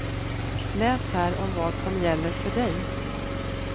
Läs här om vad som gäller för dig.